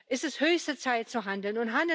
ist es höchste Zeit zu handeln.